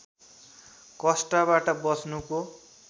कष्टबाट बच्नुको